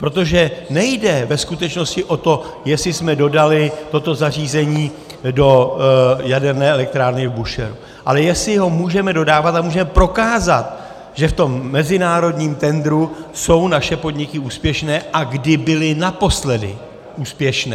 Protože nejde ve skutečnosti o to, jestli jsme dodali toto zařízení do jaderné elektrárny v Búšehru, ale jestli ho můžeme dodávat a můžeme prokázat, že v tom mezinárodním tendru jsou naše podniky úspěšné a kdy byly naposledy úspěšné.